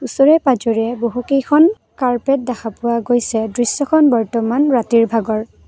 ওচৰে পাজৰে বহুকেইখন কাৰ্পেট দেখা পোৱা গৈছে দৃশ্যখন বৰ্তমান ৰাতিৰ ভাগৰ।